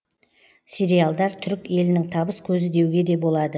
сериалдар түрік елінің табыс көзі деуге де болады